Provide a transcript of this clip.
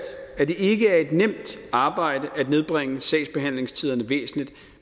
at det ikke er et nemt arbejde at nedbringe sagsbehandlingstiderne væsentligt